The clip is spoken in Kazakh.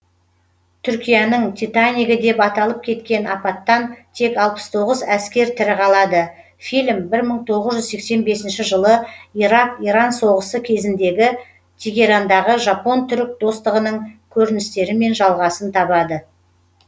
түркияның титанигі деп аталып кеткен апаттан тек алпыс тоғыз әскер тірі қалады фильм бір мың тоғыз жүз сексен бесінші жылы ирак иран соғысы кезіндегі тегерандағы жапон түрік достығының көріністерімен жалғасын табады